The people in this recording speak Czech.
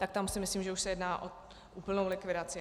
Tak tam si myslím, že už se jedná o úplnou likvidaci.